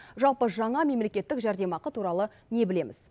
жалпы жаңа мемлекеттік жәрдемақы туралы не білеміз